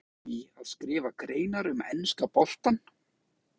Hefur þú áhuga á því að skrifa greinar um enska boltann?